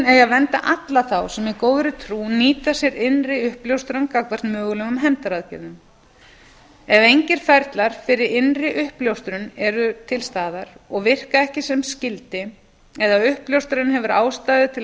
að vernda alla þá sem í góðri trú nýta sér innri uppljóstrun gagnvart mögulegum hefndaraðgerðum ef engir ferlar fyrir innri uppljóstrun eru til staðar og virka ekki sem skyldi eða uppljóstrarinn hefur ástæðu til að